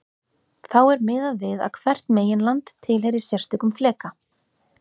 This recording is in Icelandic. Þá er miðað við að hvert meginland tilheyri sérstökum fleka.